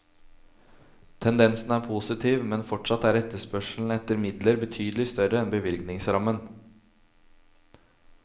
Tendensen er positiv, men fortsatt er etterspørselen etter midler betydelig større enn bevilgningsrammen.